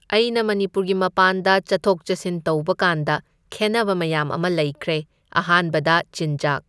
ꯑꯩꯅ ꯃꯅꯤꯄꯨꯔꯒꯤ ꯃꯄꯥꯟꯗ ꯆꯠꯊꯣꯛ ꯆꯠꯁꯤꯟ ꯇꯧꯕꯀꯥꯟꯗ ꯈꯦꯟꯅꯕ ꯃꯌꯥꯝ ꯑꯃ ꯂꯩꯈ꯭ꯔꯦ, ꯑꯍꯥꯟꯕꯗ ꯆꯤꯟꯖꯥꯛ꯫